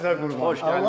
Ürəyim sizə qurban.